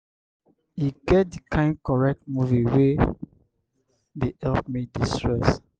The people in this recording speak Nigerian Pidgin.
e get di kain correct movie wey dey help me de-stress